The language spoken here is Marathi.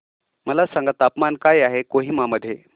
मला सांगा तापमान काय आहे कोहिमा मध्ये